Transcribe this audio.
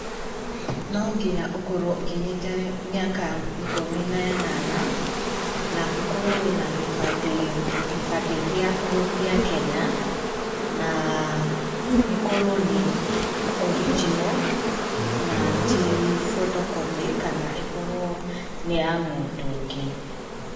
No nginya ũkorwo ũkinyĩte mĩaka ikũmi na ĩnana, na ũkorwo wĩ na gĩbandĩ gĩaku gĩa Kenya, na gĩkorwo nĩ original, na ti photocopy kana ĩkorwo nĩ ya mũndũ ũngĩ.